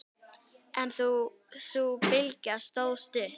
En sú bylgja stóð stutt.